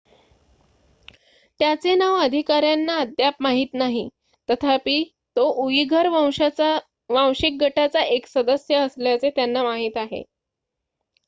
त्याचे नाव अधिकाऱ्यांना अद्याप माहीत नाही तथापि तो उईघर वांशिक गटाचा एक सदस्य असल्याचे त्यांना माहीत आहे